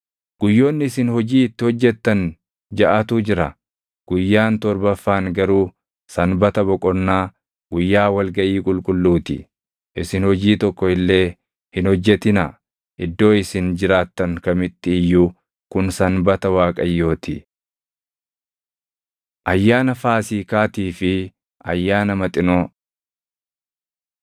“ ‘Guyyoonni isin hojii itti hojjettan jaʼatu jira; guyyaan torbaffaan garuu sanbata boqonnaa, guyyaa wal gaʼii qulqulluu ti. Isin hojii tokko illee hin hojjetinaa; iddoo isin jiraattan kamitti iyyuu kun sanbata Waaqayyoo ti. Ayyaana Faasiikaatii fi Ayyaana Maxinoo 23:4‑8 kwf – Bau 12:14‑20; Lak 28:16‑25; KeD 16:1‑8